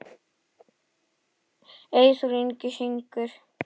Eyþór Ingi syngur.